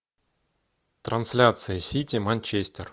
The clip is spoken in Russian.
трансляция сити манчестер